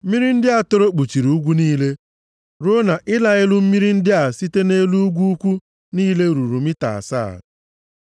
Mmiri ndị a toro kpuchiri ugwu niile, ruo na ịla elu mmiri ndị a site nʼelu ugwu ukwu niile ruru mita asaa.